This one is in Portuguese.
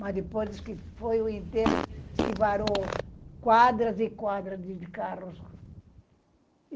Mas depois que foi o enterro, esquivaram quadras e quadras de carros.